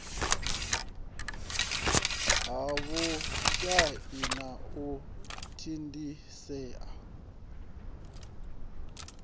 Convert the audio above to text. ha vhushai na u thithisea